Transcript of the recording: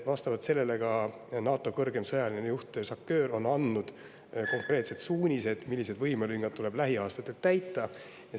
Vastavalt sellele on ka NATO kõrgeim sõjaline juht SACEUR andnud konkreetsed suunised, millised võimelüngad tuleb lähiaastatel täita.